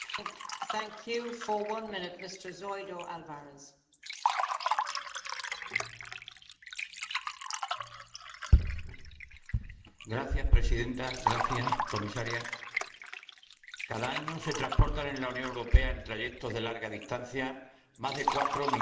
Señora presidenta, señora comisaria, cada año se transportan en la Unión Europea, en trayectos de larga distancia, más de 4 millones de cabezas de ganado vacuno,